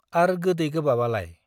आर गोदै गोबाब आलाय ?